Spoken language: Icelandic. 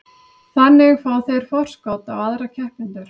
Þannig fá þeir forskot á aðra keppendur.